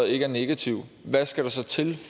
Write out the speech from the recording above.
ikke er negativ hvad skal der så til